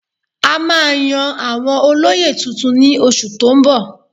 A máa yan àwọn olóyè tuntun ní oṣù tó ń bọ̀